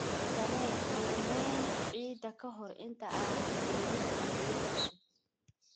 Samee qiimayn ciidda ka hor inta aanad beerin dalagyo cusub.